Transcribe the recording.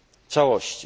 całości